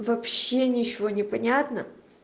вообще ничего не понятно